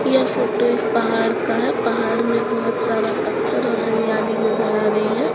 यह फोटो एक पहाड़ का है पहाड़ में बहुत सारा पत्थर और हरियाली नजर आ रही है।